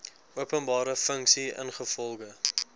openbare funksie ingevolge